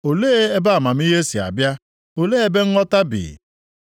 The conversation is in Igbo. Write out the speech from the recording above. Olee ebe amamihe si abịa? Olee ebe nghọta bi?